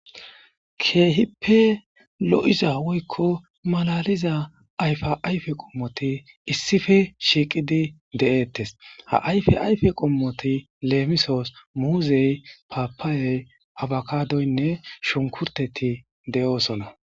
keehippe lo7iza woykko malaliza ayfa ayfe qommoti issife shiiqidi de7eettes ha ayfe ayfe qommoti leemisoos muuzey papaayey abakadoynne shunkurteti de7oosona